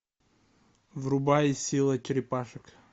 врубай сила черепашек